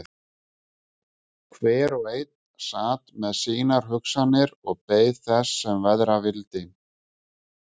Hver og einn sat með sínar hugsanir og beið þess sem verða vildi.